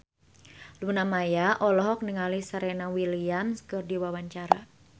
Luna Maya olohok ningali Serena Williams keur diwawancara